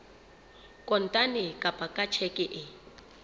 kontane kapa ka tjheke e